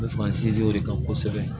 U bɛ fa sinsin o de kan kosɛbɛ